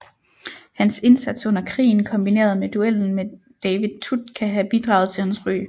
Hans indsats under krigen kombineret med duellen med David Tutt kan have bidraget til hans ry